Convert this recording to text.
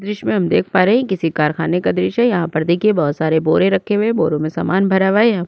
दृश्य में हम देख पा रहे है किसी कारखाने का दृश्य है यहाँ पर देखिये बहुत सारे बुरे रखे हुए है बोरो में सामन भरा हुआ है --